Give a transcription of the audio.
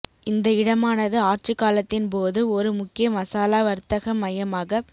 இந்த இடமானது ஆட்சி காலத்தின் போது ஒரு முக்கிய மசாலா வர்த்தக மையமாகப்